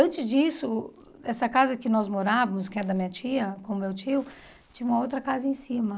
Antes disso, essa casa que nós morávamos, que é da minha tia, com o meu tio, tinha uma outra casa em cima.